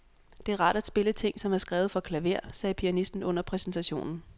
Det er rart at spille ting, som er skrevet for klaver, sagde pianisten under præsentationen.